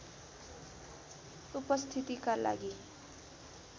उपस्थितिका लागि